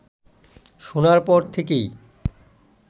শোনার পর থেকেই